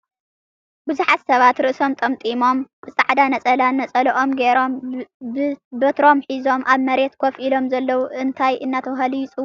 ብዙሓት ስባት ርእሶም ጠምጢሞም ብፃዕዳ ነፀላ ንፀሎኦም ጌሮም ፣ ብትሮም ሒዞም ኣብ መሬት ኮፍ ኢሎም ዘለዉ እንታይ እናትበሃሉ ይፅዉዑ ?